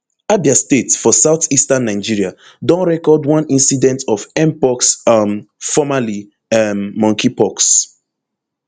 abia state for southeastern nigeria don record one incident of mpox um formerly um monkeypox